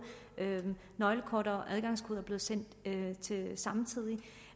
nøglekort og adgangskode er blevet sendt samtidig